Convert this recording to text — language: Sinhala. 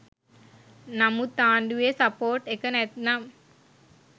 නමුත් ආණ්ඩුවෙ සපෝට් එක නැත්නම්